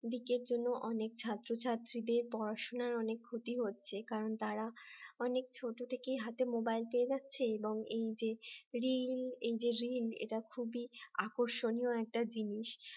লিকের জন্য অনেক ছাত্র-ছাত্রীদের পড়াশোনার অনেক ক্ষতি হচ্ছে কারণ তারা অনেক ছোট থেকেই হাতে মোবাইল পেয়ে যাচ্ছে এবং এই যে reel এই যে reel আকর্ষণীয় একটা জিনিস